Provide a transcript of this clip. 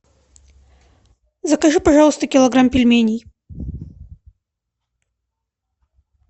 закажи пожалуйста килограмм пельменей